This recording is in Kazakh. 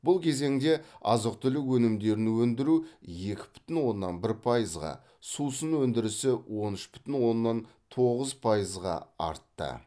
бұл кезеңде азық түлік өнімдерін өндіру екі бүтін оннан бір пайызға сусын өндірісі он үш бүтін оннан тоғыз пайызға артты